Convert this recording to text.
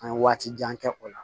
An ye waati jan kɛ o la